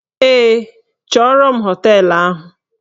Ee, chọrọ m bịa na họteelụ ahụ